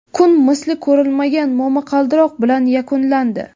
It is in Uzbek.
Kun misli ko‘rilmagan momaqaldiroq bilan yakunlandi.